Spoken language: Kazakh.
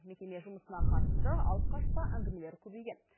мекеме жұмысына қатысты алып қашпа әңгімелер көбейген